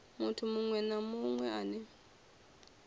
muthu muṅwe na muṅwe ane